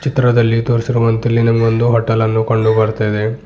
ಚಿತ್ರದಲ್ಲಿ ತೋರಿಸಿರುವಂತೆ ಇಲ್ಲಿ ನಮಗೊಂದು ಹೋಟೆಲ್ ಅನ್ನು ಕಂಡು ಬರ್ತಾ ಇದೆ.